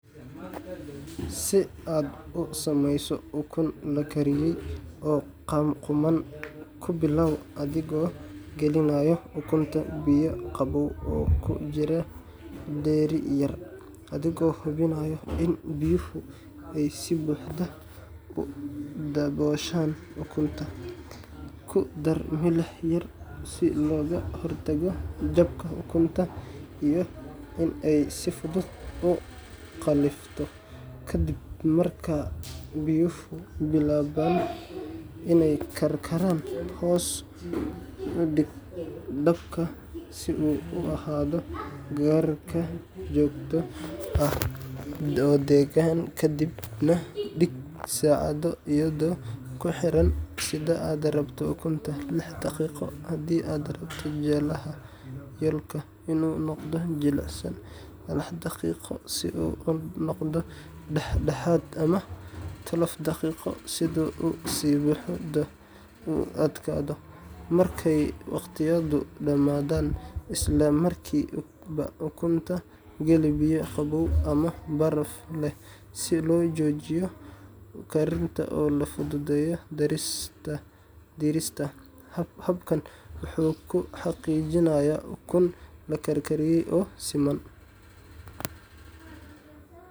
Si aad u sameyso ukun la karkariyey oo qumman, ku bilow adigoo gelinaya ukunta biyo qabow oo ku jira dheri yar, adigoo hubinaya in biyuhu ay si buuxda u dabooshaan ukunta. Ku dar milix yar si looga hortago jabka ukunta iyo in ay si fudud u qallifto ka dib. Marka biyuhu bilaabaan inay karkaraan, hoos u dhig dabka si uu u ahaado karkar joogto ah oo deggan, kadibna dhig saacadda iyadoo ku xiran sida aad rabto ukunta: lix daqiiqo haddii aad rabto jaallaha yolk inuu noqdo jilicsan, sagal daqiiqo si uu u noqdo dhax-dhexaad, ama laba iyo toban daqiiqo si uu si buuxda u adkaado. Markay waqtiyadu dhamaadaan, isla markiiba ukunta geli biyo qabow ama baraf leh si loo joojiyo karinta oo loo fududeeyo diirista. Habkan wuxuu kuu xaqiijinayaa ukun la karkariyey oo siman.